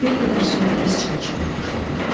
Bir qədər sonra biz çay içməyə başladıq.